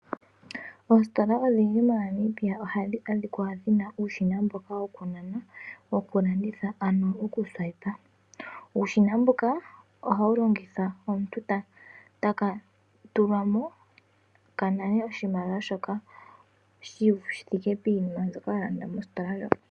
Oositola odhindji moNamibia ohadhi adhikwa dhina uushina mboka wokunana wukulanditha ano okusuwayipa. Uushina mbuka ohawu longithwa omuntu tekatulamo kanane oshimaliwa shoka shithike piinima mbyoka walanda mositola ndjoka.